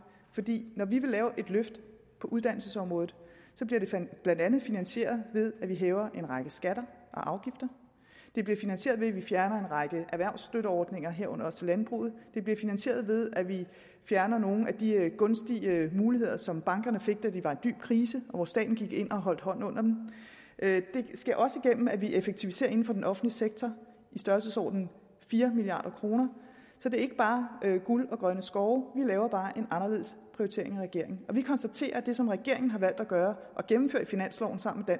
fordi når vi vil lave et løft på uddannelsesområdet bliver det blandt andet finansieret ved at vi hæver en række skatter og afgifter det bliver finansieret ved at vi fjerner en række erhvervsstøtteordninger herunder også til landbruget det bliver finansieret ved at vi fjerner nogle af de gunstige muligheder som bankerne fik da de var i dyb krise og hvor staten gik ind og holdt hånden under dem det sker også igennem at vi effektiviserer inden for den offentlige sektor i størrelsesordenen fire milliard kroner så det er ikke bare guld og grønne skove vi laver bare en anderledes prioritering end regeringen vi konstaterer at det som regeringen har valgt at gøre ved at gennemføre finansloven sammen med